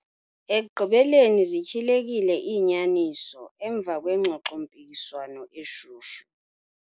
Ekugqibeleni zityhilekile iinyaniso emva kwengxoxo-mpikiswano eshushu.